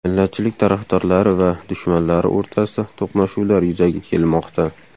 Millatchilik tarafdorlari va dushmanlari o‘rtasida to‘qnashuvlar yuzaga kelmoqda.